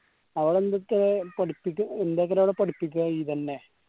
അവടെ എന്തൊക്കെ പഠിപ്പിക്ക് എന്തൊക്കെ അവിടെ പഠിപ്പിക്ക ഇതെന്നെ